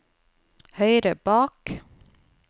høyre bak